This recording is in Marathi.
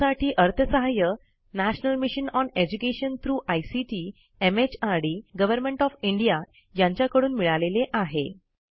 यासाठी अर्थसहाय्य national mission on education through ICT MHRD government of India यांच्याकडून मिळालेले आहे